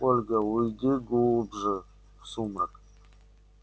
ольга уйди глубже в сумрак